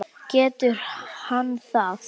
Getur hann það?